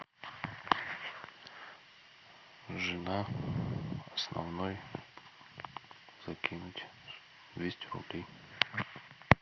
жена основной закинуть двести рублей